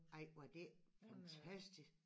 Ej var det fantastisk